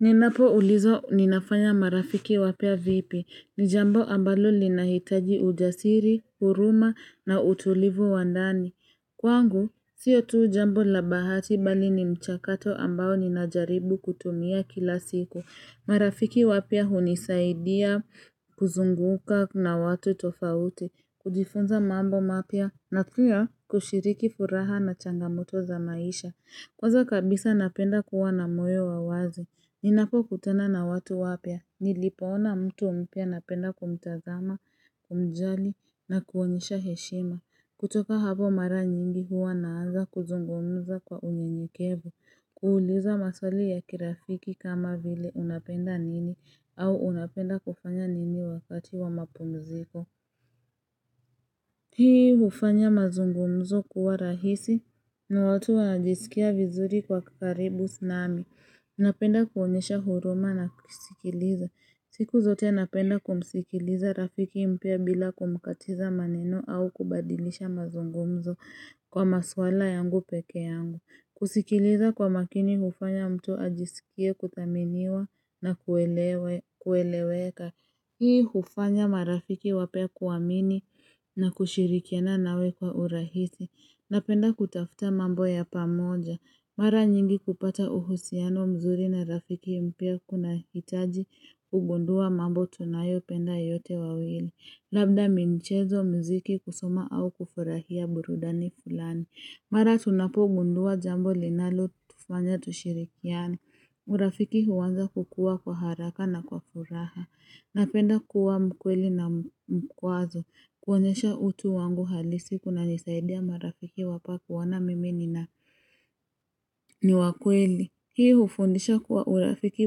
Ninapoulizwa ninafanya marafiki wapya vipi, ni jambo ambalo linahitaji ujasiri, huruma na utulivu wa ndani. Kwangu, sio tu jambo la bahati bali ni mchakato ambao ninajaribu kutumia kila siku. Marafiki wapya hunisaidia kuzunguka na watu tofauti, kujifunza mambo mapya, na pia kushiriki furaha na changamoto za maisha. Kwanza kabisa napenda kuwa na moyo wa wazi. Ninapokutana na watu wapya, nilipoona mtu mpya napenda kumtazama, kumjali, na kuonyesha heshima. Kutoka hapo mara nyingi huwa naanza kuzungumza kwa unyenyekevu, kuuliza maswali ya kirafiki kama vile unapenda nini au unapenda kufanya nini wakati wa mapumziko. Hii hufanya mazungumzo kuwa rahisi na watu wajisikia vizuri kuwa karibu nami. Napenda kuonyesha huruma na kusikiliza. Siku zote napenda kumsikiliza rafiki mpya bila kumkatiza maneno au kubadilisha mazungumzo kwa maswala yangu peke yangu. Kusikiliza kwa makini hufanya mtu ajisikie kuthaminiwa na kueleweka. Hii hufanya marafiki wapya kuamini na kushirikiana nawe kwa urahisi napenda kutafuta mambo ya pamoja. Mara nyingi kupata uhusiano mzuri na rafiki mpya kunahitaji kugundua mambo tunayopenda yote wawili. Labda ni michezo, mziki, kusoma, au kufurahia burudani fulani. Mara tunapogundua jambo linalotufanya tushirikiane. Urafiki huanza kukua kwa haraka na kwa furaha. Napenda kuwa mkweli na wa kwanza kuonyesha utu wangu halisi kunanisaidia marafiki wapya kuona mimi nina ni wakweli. Hii hufundisha kuwa urafiki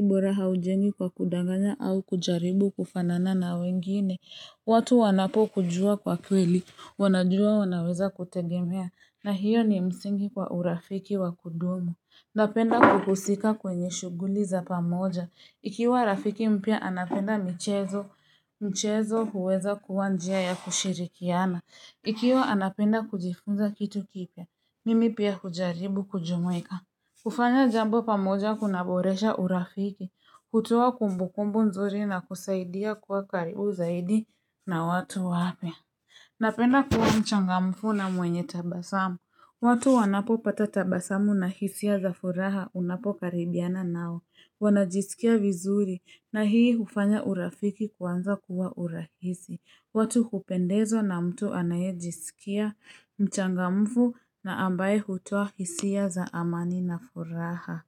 bora haujengwi kwa kudanganya au kujaribu kufanana na wengine. Watu wanapokujua kwa kweli wanajua wanaweza kutegemea na hiyo ni msingi kwa urafiki wa kudumu. Napenda kuhusika kwenye shughuli za pamoja. Ikiwa rafiki mpya anapenda michezo, michezo huweza kuwa njia ya kushirikiana. Ikiwa anapenda kujifunza kitu kipya, mimi pia kujaribu kujumuika. Kufanya jambo pamoja kunaboresha urafiki, kutoa kumbukumbu nzuri na kusaidia kuwa karibu zaidi na watu wapya. Napenda kuwa mchangamfu na mwenye tabasamu. Watu wanapopata tabasamu na hisia za furaha unapokaribiana nao. Wanajisikia vizuri na hii hufanya urafiki kuanza kuwa urahisi. Watu hupendezwa na mtu anayejisikia mchangamfu na ambaye hutoa hisia za amani na furaha.